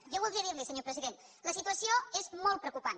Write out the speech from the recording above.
jo voldria dir li senyor president la situació és molt preocupant